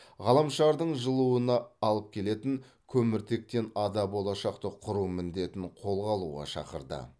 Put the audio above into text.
ғаламшардың жылуына алып келетін көміртектен ада болашақты құру міндетін қолға алуға шақырды